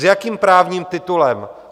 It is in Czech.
S jakým právním titulem?